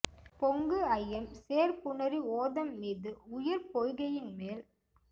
பொங்கு அயம் சேர் புணரி ஓதம் மீது உயர் பொய்கையின் மேல்